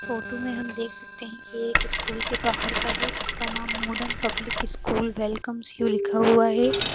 Photo में हम देख सकते है कि ये किसी स्कूल के बाहर का है जिसका नाम modern public school welcomes you लिखा हुआ है।